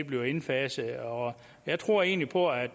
bliver indfaset og jeg tror egentlig på at